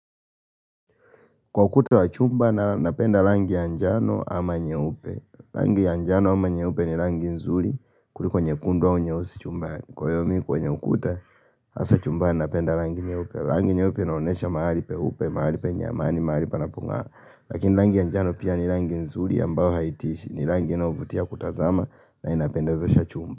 Kwa ukuta wa chumba na napenda rangi ya njano ama nyeupe rangi ya njano ama nyeupe ni rangi nzuri kuliko nyekundu au nyeusi chumbani Kwa hiyo mi kwenye ukuta hasa chumbani na napenda rangi nyeupe rangi nyeupe inaonesha mahali peupe, mahali penye amani, mahali panapongaa Lakini rangi ya njano pia ni rangi nzuri ambao haitishi ni rangi inaovutia kutazama na inapendazesha chumba.